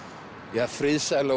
ja friðsæla og